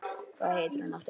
Hvað heitir hún aftur?